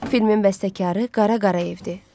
Filmin bəstəkarı Qara Qarayevdir.